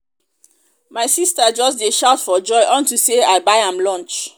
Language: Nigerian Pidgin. my sister just dey shout for joy unto say i buy am lunch